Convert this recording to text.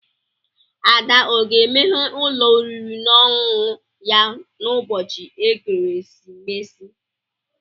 Ada o ga-emeghe ụlọ oriri na ọṅụṅụ ya n'ụbọchị ekeresimesi?